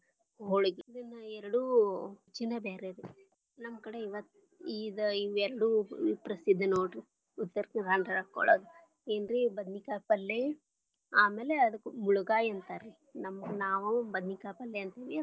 ಹೊಳಗಿ ಇದನ್ನ ಎರಡು ರುಚಿನಾ ಬ್ಯಾರೆ ರೀ. ನಮ್ಮ ಕಡೆ ಇದ ಎರಡು ಪ್ರಸಿದ್ಧ ನೋಡ್ರಿ Uattara Kannada ಒಳಗ ಏನ್ರಿ ಬದನಿಕಾಯಿ ಪಲ್ಲೆ ಆಮೇಲೆ ಅದಕ್ಕ ಮುಳಗಾಯಿ ಅಂತಾರರಿ ನಾವು ಬದನಿಕಾಯಿ ಪಲ್ಲೆ ಅಂತೀವರಿ.